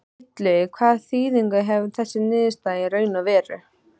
Illugi, hvaða þýðingu hefur þessi niðurstaða í raun og veru?